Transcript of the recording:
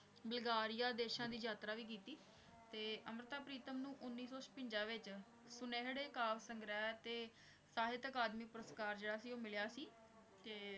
Bulgaria ਦੇਸਾਂ ਦੀ ਯਾਤਰਾ ਵੀ ਕੀਤੀ ਤੇ ਅੰਮ੍ਰਿਤਾ ਪ੍ਰੀਤਮ ਨੂੰ ਉੱਨੀ ਸੌ ਛਪੰਜਾ ਵਿੱਚ ਸੁਨਿਹਰੇ ਕਾਵਿ ਸੰਗ੍ਰਹਿ ਤੇ ਸਾਹਿਤ ਅਕਾਦਮੀ ਪੁਰਸਕਾਰ ਜਿਹੜਾ ਸੀ ਉਹ ਮਿਲਿਆ ਸੀ ਤੇ